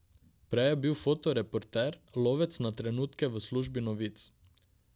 Prej je bil fotoreporter, lovec na trenutke v službi novic.